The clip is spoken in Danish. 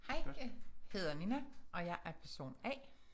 Hej jeg hedder Nina og jeg er person A